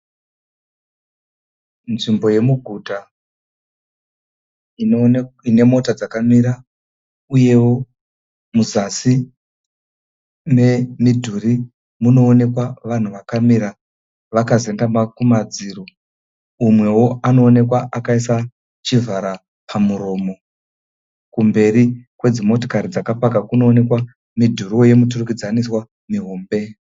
Nzvimbo yemuguta ine mota dzakamira uyewo muzasi memidhuri munoonekwa vanhu vakamira vakazendama kumadziro. Umwewo anoonekwa akaisa chivhara pamuromo. Kumberi kwedzi motokari dzakapaka kunoonekwa midhuri yemiturikidzaniswa mihombe.